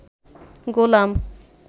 গোলাম